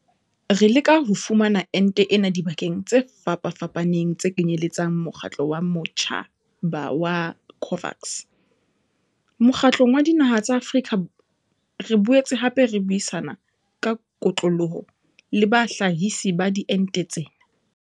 Re leka ho fumana ente ena dibakeng tse fapafapaneng tse kenyeletsang mokgatlo wa matjhaba wa COVAX, Mokgatlong wa Dinaha tsa Afrika re boetse hape re buisana ka kotloloho le bahlahisi ba diente tsena.